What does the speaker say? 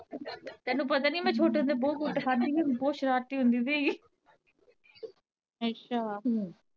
ਤੈਨੂੰ ਪਤਾ ਨੀ ਮੈਂ ਛੋਟੇ ਹੁੰਦੇ ਬਹੁਤ ਕੁੱਟ ਖਾਦੀ ਮੈਂ ਬਹੁਤ ਸ਼ਰਾਰਤੀ ਹੁੰਦੀ ਸੀਗੀ